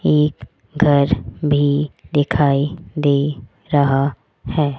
एक घर भी दिखाई दे रहा है।